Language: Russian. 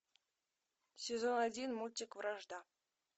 сезон один мультик вражда